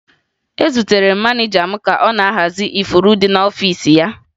Ezutere m maneja m ka ọ na-ahazi ifuru ndị dị n'ọfiisi ya